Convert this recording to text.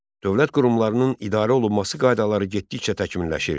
Dövlət qurumlarının idarə olunması qaydaları getdikcə təkmilləşirdi.